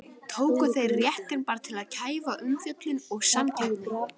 Tóku þeir réttinn bara til að kæfa umfjöllun og samkeppni?